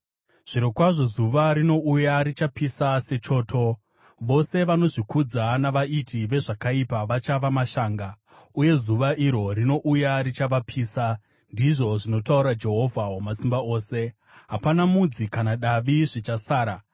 “Zvirokwazvo zuva rinouya; richapisa sechoto. Vose vanozvikudza navaiti vezvakaipa vachava mashanga, uye zuva iro rinouya richavapisa,” ndizvo zvinotaura Jehovha Wamasimba Ose. “Hapana mudzi kana davi zvichasara.